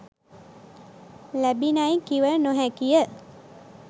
ලැබිණැයි කිව නො හැකි ය